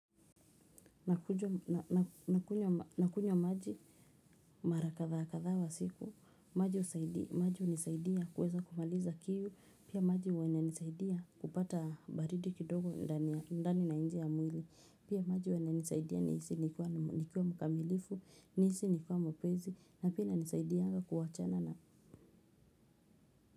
Nakunywa maji mara kadhaa kadhaa kwa siku, maji husaidia maji hunisaidia kuweza kumaliza kiu, pia maji huwa inisaidia kupata baridi kidogo ndani na nje ya mwili, pia maji huwa inisaidia nihisi nikiwa mkamilifu, nihisi nikiwa mwepesi, na pia inisaidianga kuwachana na.